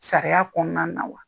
Sariya kɔnɔna na wa ?